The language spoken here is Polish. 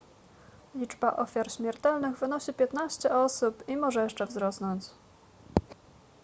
liczba ofiar śmiertelnych wynosi 15 osób i może jeszcze wzrosnąć